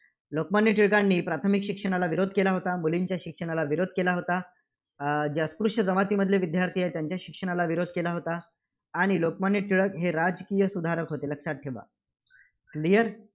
लोकमान्य टिळकांनी प्राथमिक शिक्षणाला विरोध केला होता. मुलींच्या शिक्षणाला विरोध केला होता. अं जे अस्पृश्य जमातीतील विद्यार्थी आहेत, त्यांच्या शिक्षणाला विरोध केला होता, आणि लोकमान्य टिळक हे राजकीय सुधारक होते हे लक्षात ठेवा. clear